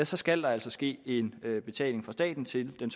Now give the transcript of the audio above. så skal der altså ske en betaling fra staten til den